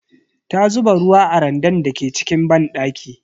Ta zuba ruwa a randan da ke cikin banɗaki.